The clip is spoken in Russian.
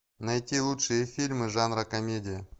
найти лучшие фильмы жанра комедия